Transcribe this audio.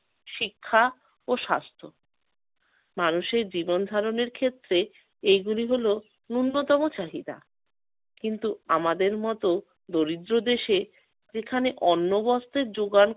শিক্ষা ও স্বাস্থ্য। মানুষের জীবনধারণের ক্ষেত্রে এগুলি হলো ন্যূনতম চাহিদা। কিন্তু আমাদের মত দরিদ্র দেশে যেখানে অন্ন বস্ত্রের যোগান